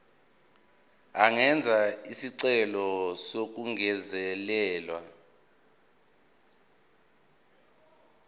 angenza isicelo sokungezelelwa